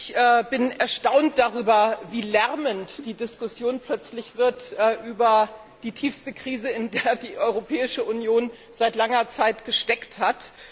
Ich bin erstaunt darüber, wie lärmend die Diskussion plötzlich wird über die tiefste Krise, in der die Europäische Union seit langer Zeit gesteckt hat.